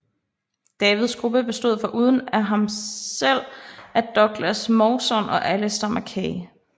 Davids gruppe bestod foruden af ham selv af Douglas Mawson og Alistair Mackay